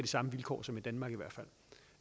samme vilkår som i danmark så